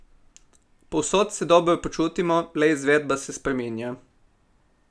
Povsod se dobro počutimo, le izvedba se spreminja.